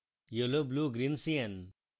yellow blue green cyan